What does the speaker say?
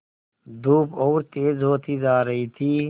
धूप और तेज होती जा रही थी